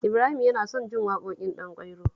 Ibrahim yana son jin waƙoƙin Ɗanƙwairo